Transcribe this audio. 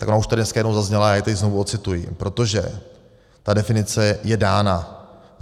Tak ona už tady dneska jednou zazněla a já ji tedy znovu odcituji, protože ta definice je dána.